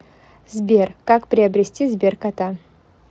сбер как приобрести сберкота